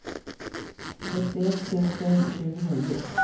sjuttioett tusen tjugonio